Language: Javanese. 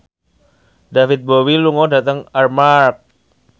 David Bowie lunga dhateng Armargh